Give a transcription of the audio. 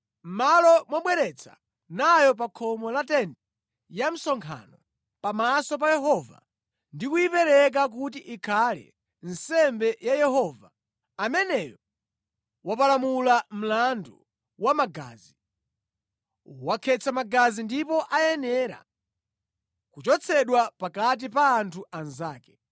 mʼmalo mobwera nayo pa khomo la tenti ya msonkhano pamaso pa Yehova ndi kuyipereka kuti ikhale nsembe ya Yehova, ameneyo wapalamula mlandu wa magazi, wakhetsa magazi ndipo ayenera kuchotsedwa pakati pa anthu anzake.